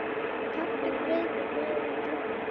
Taktu gripið neðar á kylfuna